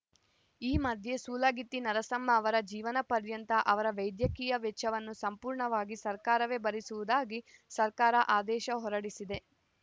ಈ ಮಧ್ಯೆ ಸೂಲಗಿತ್ತಿ ನರಸಮ್ಮ ಅವರ ಜೀವನಪರ್ಯಂತ ಅವರ ವೈದ್ಯಕೀಯ ವೆಚ್ಚವನ್ನು ಸಂಪೂರ್ಣವಾಗಿ ಸರಕಾರವೇ ಭರಿಸುವುದಾಗಿ ಸರಕಾರ ಆದೇಶ ಹೊರಡಿಸಿದೆ